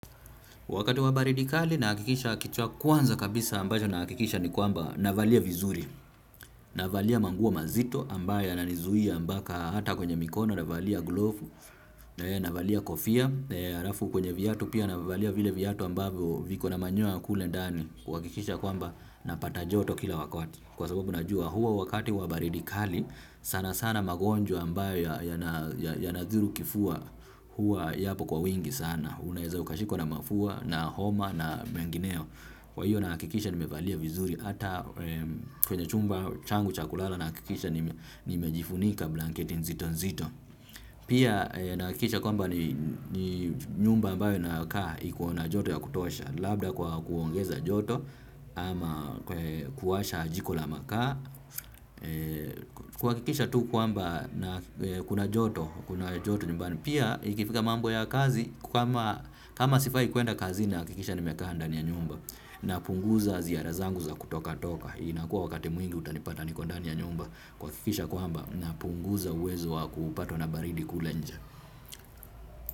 Wakati wa baridi kali nahakikisha kitu ya kwanza kabisa ambacho nahakikisha ni kwamba navalia vizuri navalia manguo mazito ambayo yananizuia mbaka hata kwenye mikono navalia glovu navalia kofia, alafu kwenye viatu pia navalia vile vyatu ambavyo viko na manyoya kule ndani kuhakikisha kwamba napata joto kila wakati kwa sababu najua huo wakati wa baridikali sana sana magonjwa ambayo yana yana dhuru kifua huwa yapo kwa wingi sana. Unaeza ukashikwa na mafua na homa na mengineo. Kwa hiyo nahakikisha nimevalia vizuri. Ata kwenye chumba changu cha kulala. Nahakikisha nimejifunika blanketi nzito nzito. Pia nahakikisha kwamba ni nyumba ambayo nakaa. Iko na joto ya kutosha. Labda kwa kuongeza joto ama kuwasha jiko la makaa. Kuhakikisha tu kwamba na kuna joto. Kuna joto nyumbani. Pia ikifika mambo ya kazi kama kama sifai kuenda kazi nahakikisha nimekaa ndani ya nyumba. Napunguza ziara zangu za kutoka toka inakuwa wakati mwingi utanipata niko ndani ya nyumba. Kuhakikisha kwamba napunguza uwezo wa kupatwa na baridi kule nje.